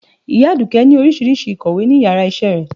Iya aduke ni oríṣiriṣi ikọwé ni iyara isé rẹ